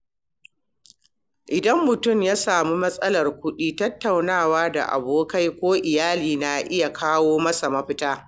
In mutum ya sami matsalar kuɗi, tattaunawa da abokai ko iyali na iya kawo masa mafita.